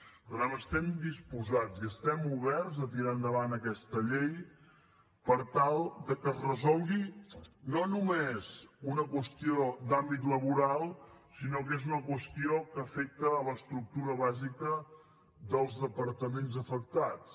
per tant estem disposats i estem oberts a tirar endavant aquesta llei per tal de que es resolgui no només una qüestió d’àmbit laboral sinó que és una qüestió que afecta l’estructura bàsica dels departaments afectats